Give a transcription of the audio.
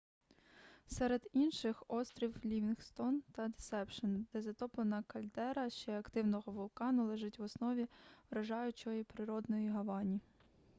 серед інших острів лівінгстон та десепшен де затоплена кальдера ще активного вулкану лежить в основі вражаючої природної гавані